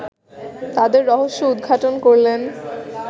তাদের রহস্য উদ্ঘাটন করলেন